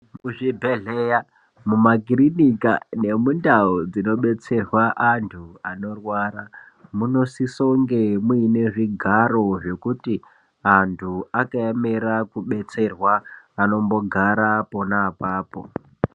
Kuzvibhedhleya mumakirinika nemundau dzinodetserwa anthu anorwara munosisonge muine zvigaro zvekuti anthu anoemera kubatsirwa anombogara pona apapo.